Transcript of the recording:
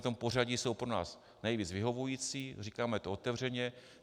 V tomto pořadí jsou pro nás nejvíce vyhovující, říkáme to otevřeně.